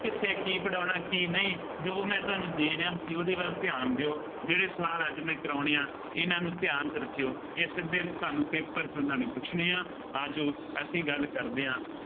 ਕਿੱਥੇ ਕੀ ਪੜ੍ਹਾਉਣਾ ਕੀ ਨਹੀਂ, ਜੋ ਮੈਂ ਤੁਹਾਨੂੰ ਦੇ ਰਿਹਾ, ਤੁਸੀਂ ਉਹਦੇ ਵੱਲ ਧਿਆਨ ਦਿਉ, ਜਿਹੜੇ ਸਵਾਲ ਅੱਜ ਮੈਂ ਕਰਾਉਣੇ ਆ, ਇਹਨਾ ਨੂੰ ਧਿਆਨ ਚ ਰੱਖਿਉ। ਇਹ ਸਿੱਧੇ ਤੁਹਾਨੂੰ paper ਚ ਉਹਨਾ ਨੇ ਪੁੱਛਣੇ ਆ, ਆ ਜਾਉ, ਅਸੀਂ ਗੱਲ ਕਰਦੇ ਹਾਂ।